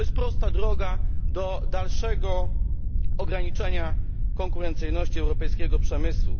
To jest prosta droga do dalszego ograniczenia konkurencyjności europejskiego przemysłu.